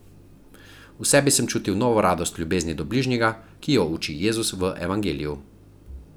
V sebi sem občutil novo radost v ljubezni do bližnjega, ki jo uči Jezus v Evangeliju.